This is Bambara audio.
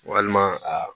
Walima a